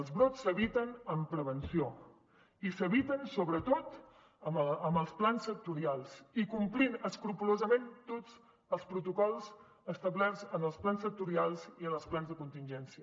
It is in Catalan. els brots s’eviten amb prevenció i s’eviten sobretot amb els plans sectorials i complint escrupolosament tots els protocols establerts en els plans sectorials i en els plans de contingència